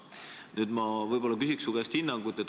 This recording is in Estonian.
Nüüd ma küsin su käest hinnangut.